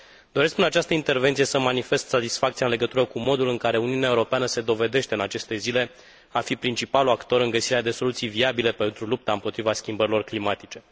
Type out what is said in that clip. Doresc, în această intervenție, să îmi manifest satisfacția în legătură cu modul în care Uniunea Europeană se dovedește, în aceste zile, a fi principalul actor în găsirea de soluții viabile pentru lupta împotriva schimbărilor climatice.